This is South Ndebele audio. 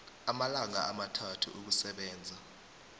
amalanga amathathu ukusebenza